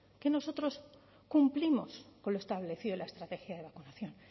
que nosotros cumplimos con lo establecido en la estrategia de vacunación